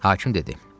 Hakim dedi: